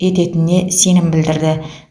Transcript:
ететініне сенім білдірді